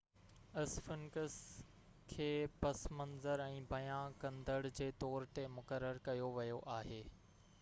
اسفنڪس کي پس منظر ۽ بيان ڪندڙ جي طور تي مقرر ڪيو ويو آهي